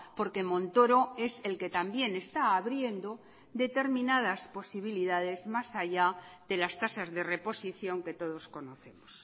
porque montoro es el que también está abriendo determinadas posibilidades más allá de las tasas de reposición que todos conocemos